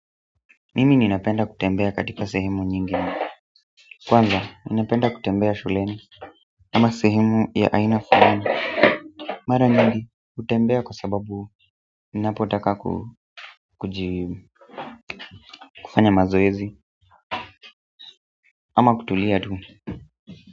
Mimi ninapenda kutembea katika sehemu nyingi kwanza ninapenda kutembea shuleni ama sehemu ya aina fulani mara nyingi hutembea kwa sababu ninapotaka kujibu kufanya mazoezi ama kutulia tu.